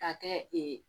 Ka kɛ